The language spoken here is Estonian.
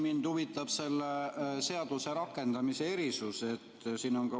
Mind huvitab selle seaduse rakendamise erisus.